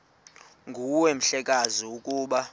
nguwe mhlekazi ukuba